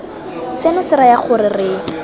seno se raya gore re